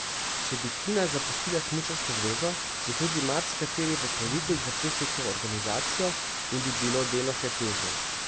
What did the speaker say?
Če bi Tina zapustila Smučarsko zvezo, bi tudi marsikateri pokrovitelj zapustil to organizacijo in bi bilo delo še težje.